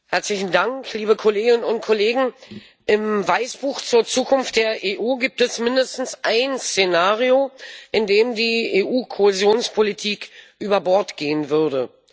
Herr Präsident, liebe Kolleginnen und Kollegen! Im Weißbuch zur Zukunft der EU gibt es mindestens ein Szenario, in dem die EU Kohäsionspolitik über Bord gehen würde.